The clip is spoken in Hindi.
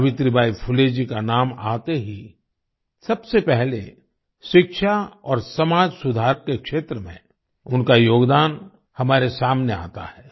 सावित्रीबाई फुले जी का नाम आते ही सबसे पहले शिक्षा और समाज सुधार के क्षेत्र में उनका योगदान हमारे सामने आता है